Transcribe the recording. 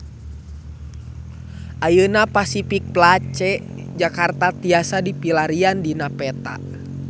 Ayeuna Pasific Place Jakarta tiasa dipilarian dina peta